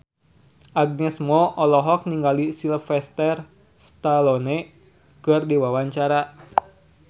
Agnes Mo olohok ningali Sylvester Stallone keur diwawancara